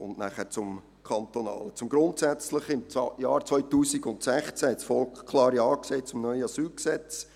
Im Jahr 2016 hat das Volk klar Ja zum neuen Asylgesetz gesagt.